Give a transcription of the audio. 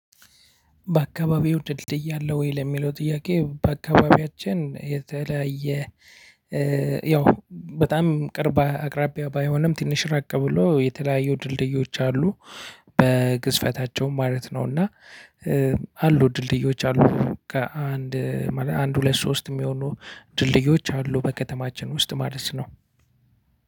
በአከባቢው ድልድይ አለ ወይ? ለሚለው ጥያቄ በአከባቢያችን የተለያየ ያው በጣም ቅርብ አቅራቢያ ባይሆንም ትንሽ ራቅ ብሎ የተለያዩ ድልድዮች አሉ በግዝፈታቸውም ማለት ነው። እና አሉ ድልድዮች አሉ ከአንድ አንድ ሁለት ሶስት የሚሆኑ ድልድዮች አሉ በከተማችን ውስጥ ማለት ነው።